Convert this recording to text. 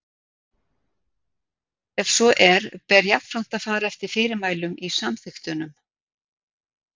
Ef svo er ber jafnframt að fara eftir fyrirmælum í samþykktunum.